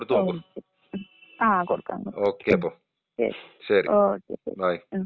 ഓ ശെരി ആ കൊടുക്കാം കൊടുക്കാം. ശരി. ഓക്കേ ശരി ഉം.